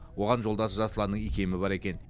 оған жолдасы жасұланның икемі бар екен